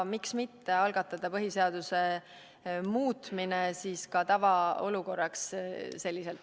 Miks mitte algatada põhiseaduse muutmine selliselt ka tavaolukorra jaoks.